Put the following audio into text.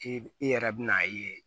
I i yɛrɛ bɛ n'a ye